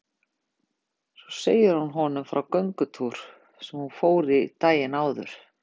Svo segir hún honum frá göngutúr sem hún fór í daginn áður.